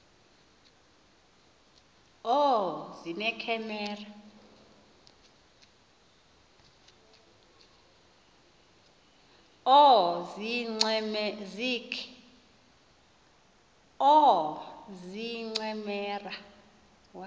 oozincemera